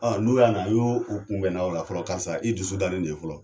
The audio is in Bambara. Ɔ n'o y'a na yo kunbɛnna ola fɔlɔ karisa i dusu dani ye fɔlɔ